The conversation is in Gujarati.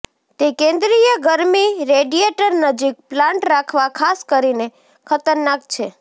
તે કેન્દ્રિય ગરમી રેડિયેટર નજીક પ્લાન્ટ રાખવા ખાસ કરીને ખતરનાક છે